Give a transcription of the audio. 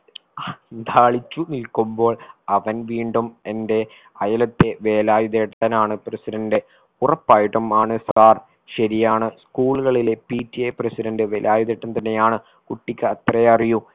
അന്ധാളിച്ചു നിൽക്കുമ്പോൾ അവൻ വീണ്ടും എന്റെ അയലത്തെ വേലായുധേട്ടനാണ് president ഉറപ്പായിട്ടുമാണ് sir ശരിയാണ് school കളിലെ PTApresident വേലായുധേട്ടൻ തന്നെയാണ് കുട്ടിക്ക് അത്രേ അറിയൂ